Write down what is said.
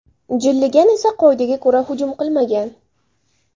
Jilligan esa qoidaga ko‘ra hujum qilmagan.